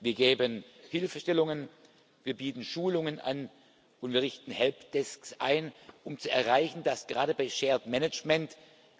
Wir geben Hilfestellungen, wir bieten Schulungen an und richten Help Desks ein, um zu erreichen, dass gerade bei shared management